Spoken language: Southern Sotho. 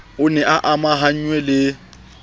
o ne a amahanngwe le